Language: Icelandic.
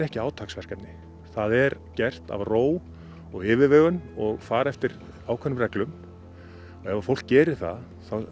ekki átaksverkefni það er gert af ró og yfirvegun og farið eftir ákveðnum reglum ef ef fólk gerir það